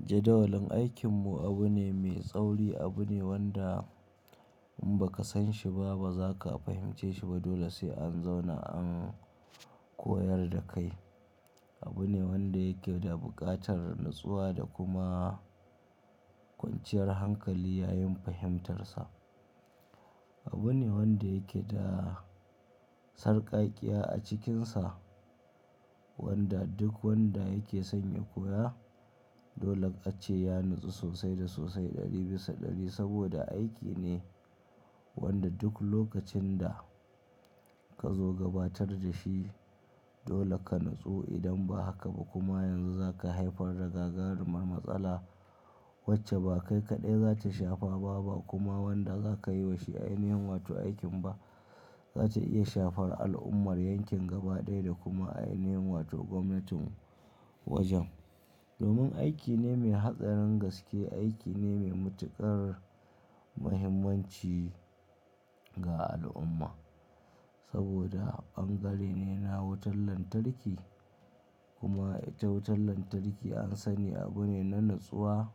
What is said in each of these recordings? Jadawalin aikin mu abu ne mai tsauri, abu ne wanda in ba ka san shi ba ba za ka fahimce shi ba. Dole sai an zauna an koyar da kai. Abu ne wanda yake da buƙatar natsuwa da kuma kwanciyar hankali yayin fahimtarsa. Abu ne wanda yake da sarƙaƙƙiya a cikinsa, wanda duk wanda yake sanya koya dole ƙace ya natsu sosai da sosai ɗari bisa ɗari saboda aiki ne wanda duk lokacin da ka zo gabatar da shi dole ka natsu. Idan ba haka ba kuma yanzu za ka haifar da gagarumar matsala wacce ba kai kaɗai za ta shafa ba, ba kuma wanda za ka yi wa shi ainihin wato aikin ba. Za ta iya shafar al'ummar yankin gaba ɗaya da kuma ainihin wato gwamnatin wajen. Domin aiki ne mai hatsarin gaske, aiki ne mai matuƙar muhimmanci ga al'umma saboda bangare ne na wutar lantarki kuma ita wutar lantarki an sani abu ne na natsuwa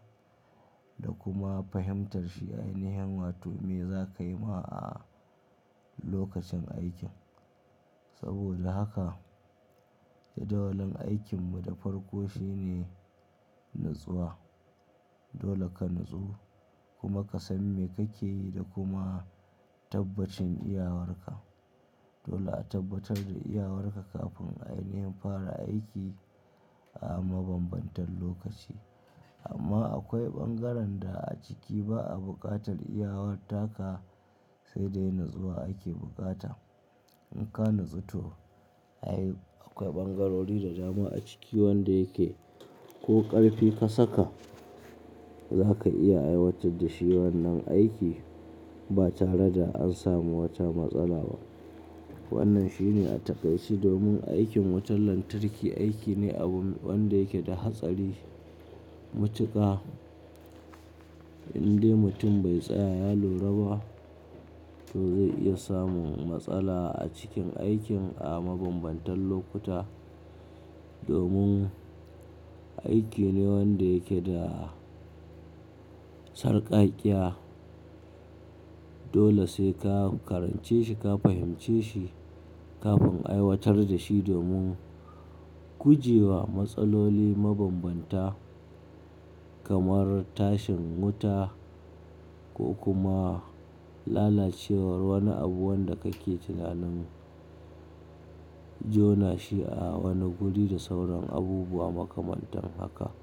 da kuma fahimtarsa ainihin wato me za ka yi ma a lokacin aikin. Saboda haka jadawalin aikin mu da farko shine natsuwa. Dole ka natsu kuma ka san me kake yi da kuma tabbacin iyawarka. Dole a tabbatar da iyawarka kafin ainihin fara aiki a mabambantan lokaci. Amma akwai bangaren da a ciki ba a buƙatar iyawar taka sai dai natsuwa ake bukata. In ka natsu to ayi. Akwai ɓangarori da jama'a ciki wanda yake ko ƙarfi ka saka za ka iya aiwatar da shi wannan aiki ba tare da an samu wata matsala ba. Wannan shine a takaici domin aikin wutar lantarki aiki ne abu wanda yake da hatsari matuƙa. Indai mutum bai tsaya ya lura ba to zai iya samun matsala a cikin aikin a mabambantan lokuta. Domin aiki ne wanda yake da sarƙaƙƙiya. Dole sai ka karance shi, ka fahimce shi kafin aiwatar da shi domin guje wa matsaloli mabambanta kamar tashin wuta ko kuma lalacewar wani abu wanda kake tunanin jona shi a wani guri da sauran abubuwa makamantan haka.